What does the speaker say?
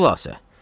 Xülasə.